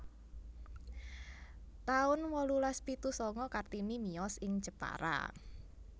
taun wolulas pitu sanga Kartini miyos ing Jepara